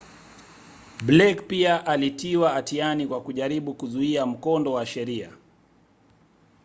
blake pia alitiwa hatiani kwa kujaribu kuzuia mkondo wa sheria